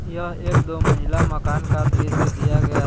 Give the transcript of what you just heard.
यह एक दो मंजिली मकान का दृश्य दिया गया ह--